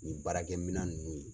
Nin baarakɛ mina ninnu.